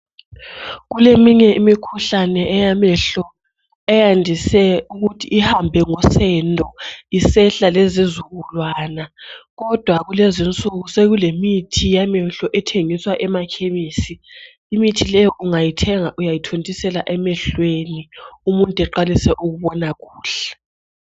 Kuleminye imikhuhlane eyamehlo eyandise ukuthi ihambe ngosendo isehla lezizukulwana kodwa kulezinsuku zokulemithi yamehlo ethengiswa emakhemisi imithi leyi ungayithenga uyayithontisela emehlweni umuntu eqalise ukubona kuhle.